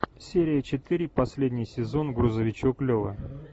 серия четыре последний сезон грузовичок лева